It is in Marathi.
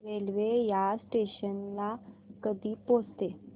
रेल्वे या स्टेशन ला कधी पोहचते